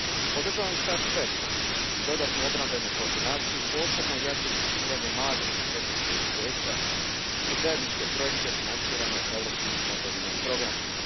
Podržavam start PESCO a i dodatnu obrambenu koordinaciju, posebno jače uključivanje malih i srednjih poduzeća u zajedničke projekte financirane europskim fondovima i programima.